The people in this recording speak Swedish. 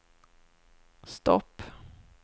stopp